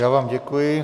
Já vám děkuji.